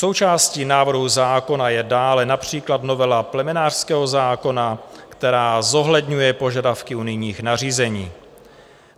Součástí návrhu zákona je dále například novela plemenářského zákona, která zohledňuje požadavky unijních nařízení.